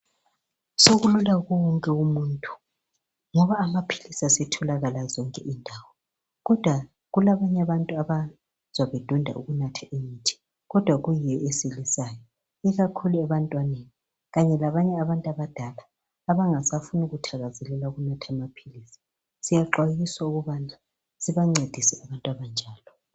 Sokulula kuye wonke umuntu ngoba amaphilisi asetholakala zonke indawo kodwa kulabantu abadonda ukunatha imithi kuyiyo esilisayo ikakhulu abantwana labanye abantu abadala abangathakazeleli ukunatha amaphilisi. Siyaxwayiswa ukubana sibancedise abantu abanjalo.